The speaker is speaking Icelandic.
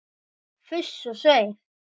Fuss og svei!